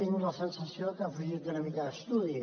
tinc la sensació que ha fugit una mica d’estudi